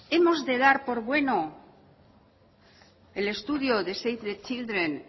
hemos de dar por bueno el estudio de save the chindren